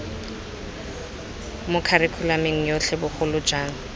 mo kharikhulamong yotlhe bogolo jang